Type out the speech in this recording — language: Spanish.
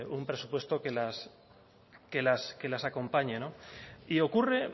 un presupuesto que las acompañe y ocurre